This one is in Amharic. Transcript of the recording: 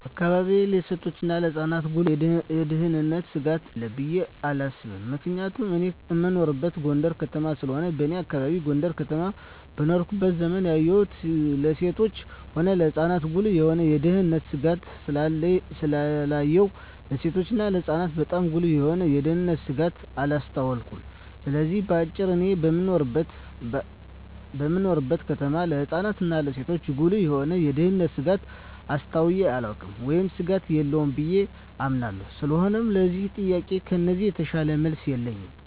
በአካባቢየ ለሴቶችና ለህጻናት ጉልህ የሆነ የደህንነት ስጋት አለ ብየ አላስብም ምክንያቱም እኔ እምኖረው ጎንደር ከተማ ስለሆነ በኔ አካባቢ ጎንደር ከተማ በኖርኩበት ዘመን ያየሁን ለሴትም ሆነ ለህጻን ጉልህ የሆነ የደህንነት ስጋት ስላላየሁ ለሴቶችና ለህጻናት ባጣም ጉልህ የሆነ የደንነት ስጋት አላስተዋልኩም ስለዚህ በአጭሩ እኔ በምኖርበት ከተማ ለህጻናት እና ለሴቶች ጉልህ የሆነ የደህንነት ስጋት አስተውየ አላውቅም ወይም ስጋት የለም ብየ አምናለሁ ስለሆነም ለዚህ ጥያቄ ከዚህ የተሻለ መልስ የለኝም።